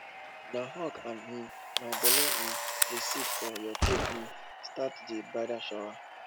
na hug and um my belle um dey seet for you take um start di bridal shower